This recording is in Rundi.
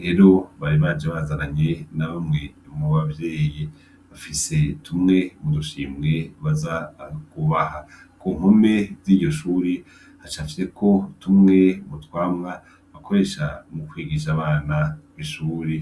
rero bari baje bazarananye na bamwe mu bavyeyi. Bafise tumwe mu dushimwe baza kubaha. Ku mpome ry' iryoshuri hacafyeko tumwe mu twamwa bakoresha mu kwigisha abana kw'ishuri.